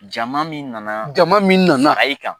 Jama min nana jama min nana a ye kan